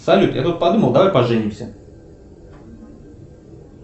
салют я тут подумал давай поженимся